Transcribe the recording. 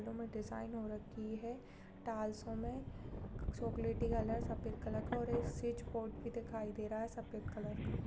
Design हो रखी है टाइल्सों में चॉकलेटी कलर सफेद कलर का और एक स्विच बोर्ड भी दिखाई दे रहा है सफ़ेद कलर का।